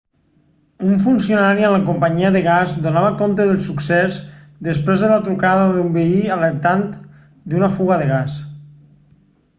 un funcionari amb la companyia del gas donava compte del succés després de la trucada d'un veí alertant d'una fuga de gas